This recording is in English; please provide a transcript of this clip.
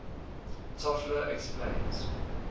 toffler explains